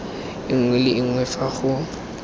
nngwe le nngwe fa go